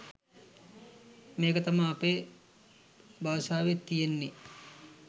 මේක තමා අපේ බාසාවේ තියෙන්නේ